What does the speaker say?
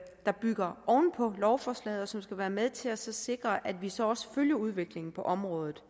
der bygger oven på lovforslaget og som skal være med til at sikre at vi så også følger udviklingen på området